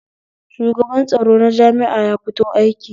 Shugaban tsaro na jami'a ya fito aiki